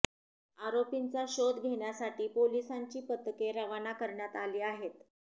आरोपींचा शोध घेण्यासाठी पोलिसांची पथके रवाना करण्यात आली आहेत